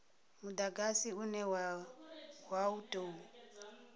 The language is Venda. mudagasi une wa u tou